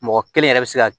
Mɔgɔ kelen yɛrɛ bɛ se ka